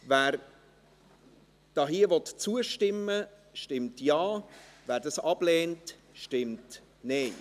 Wer hier zustimmen will, stimmt Ja, wer dies ablehnt, stimmt Nein.